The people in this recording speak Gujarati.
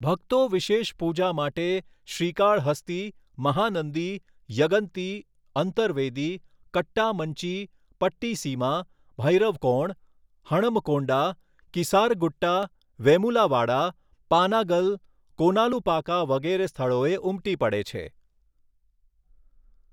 ભક્તો વિશેષ પૂજા માટે શ્રીકાળહસ્તી, મહાનંદી, યગંતી, અંતરવેદી, કટ્ટામંચી, પટ્ટિસીમા, ભૈરવકોણ, હણમકોંડા, કીસારગુટ્ટા, વેમુલાવાડા, પાનાગલ, કોલાનુપાકા વગેરે સ્થળોએ ઉમટી પડે છે.